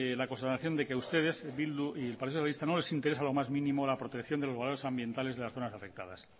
la constatación de que a ustedes bildu y el partido socialista no les interesa lo más mínimo la protección de los valores ambientales de las zonas afectadas